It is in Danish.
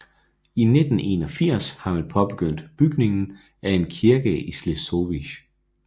I 1981 har man påbegyndt bygningen af en kirke i Śleszowice